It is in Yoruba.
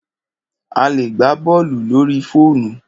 A lè gbá bọ́ọ̀lù lórí fóònù.